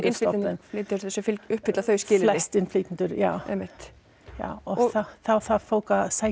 innflytjendur sem uppfylla þau skilyrði fæstir innflytjendur já einmitt já og þá þarf fólk að sækja